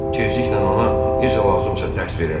Tezliklə ona necə lazımsa dərs verərəm.